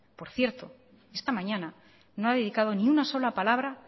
por cierto esta mañana no ha dedicado ni una sola palabra